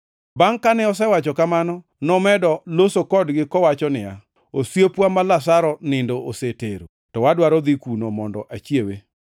Bangʼ kane osewacho kamano, nomedo loso kodgi kowacho niya, “Osiepwa ma Lazaro nindo osetero, to adwaro dhi kuno mondo achiewe.”